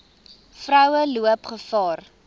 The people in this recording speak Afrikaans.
vroue loop gevaar